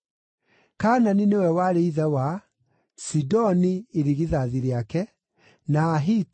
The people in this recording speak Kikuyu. Kaanani nĩwe warĩ ithe wa Sidoni irigithathi rĩake, na Ahiti,